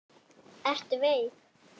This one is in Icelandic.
Ertu veik?